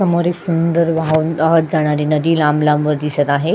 समोर एक सुंदर वाहून वाहत जाणारी नदी लांब लांबवर दिसत आहे.